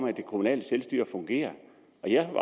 at det kommunale selvstyre fungerer